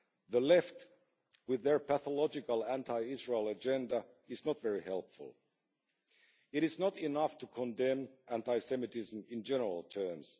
The Left, with their pathological anti Israel agenda, is not very helpful. It is not enough to condemn anti-Semitism in general terms.